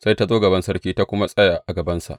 Sai ta zo gaban sarki ta kuma tsaya a gabansa.